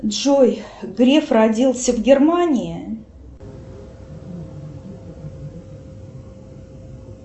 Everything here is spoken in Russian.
джой греф родился в германии